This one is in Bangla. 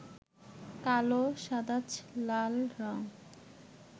কালো, সাদাচ, লাল রং